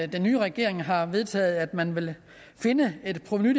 den nye regering har vedtaget at man vil finde et provenu